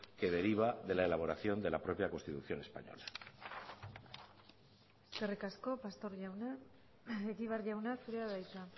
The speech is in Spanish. que deriva de la elaboración de la propia constitución española eskerrik asko pastor jauna egibar jauna zurea da hitza